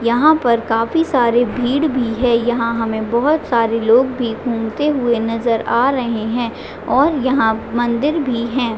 यहाँ पर काफी सारी भीड़ भी है यहाँ बोहोत सारे लोग भी घूमते हुए नज़र आ रहे है और यहाँ मंदिर भी है।